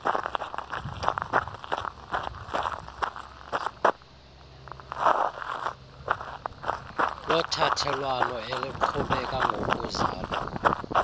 lothathelwano eliqhubeka ngokuzalwa